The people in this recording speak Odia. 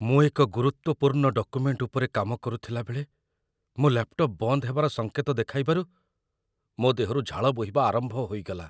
ମୁଁ ଏକ ଗୁରୁତ୍ୱପୂର୍ଣ୍ଣ ଡକ୍ୟୁମେଣ୍ଟ ଉପରେ କାମ କରୁଥିଲାବେଳେ ମୋ ଲାପଟପ୍ ବନ୍ଦ ହେବାର ସଙ୍କେତ ଦେଖାଇବାରୁ ମୋ ଦେହରୁ ଝାଳ ବୋହିବା ଆରମ୍ଭ ହୋଇଗଲା।